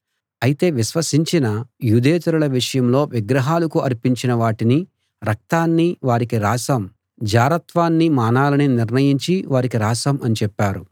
అయితే విశ్వసించిన యూదేతరుల విషయంలో విగ్రహాలకు అర్పించిన వాటినీ రక్తాన్నీ వారికి రాశాం జారత్వాన్నీ మానాలని నిర్ణయించి వారికి రాశాం అని చెప్పారు